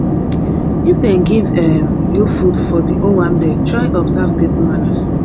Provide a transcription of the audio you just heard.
if dem give um you food for di owanbe try observe table manners